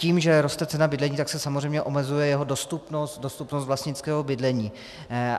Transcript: Tím, že roste cena bydlení, tak se samozřejmě omezuje jeho dostupnost, dostupnost vlastnického bydlení.